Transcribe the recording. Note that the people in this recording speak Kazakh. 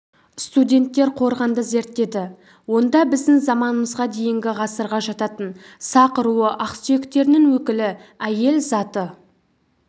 студенттер қорғанды зерттеді онда біздің заманымызға дейінгі ғасырға жататын сақ руы ақсүйектерінің өкілі әйел заты